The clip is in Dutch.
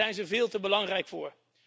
Daar zijn ze veel te belangrijk voor.